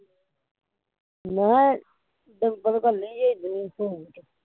ਮੈਂ ਕਿਹਾਂ ਡਿੰਪਲ ਨੂੰ ਘੱਲੀ ਜੇ ਜਿਨਸੂ